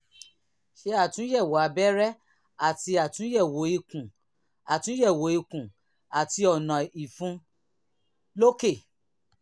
ṣe àtúnyẹ̀wò abẹ́rẹ́ àti àtúnyẹ̀wò ikùn àtúnyẹ̀wò ikùn àti ọ̀nà ìfun lókè